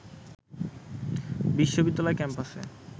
বিশ্ববিদ্যালয় ক্যাম্পাসে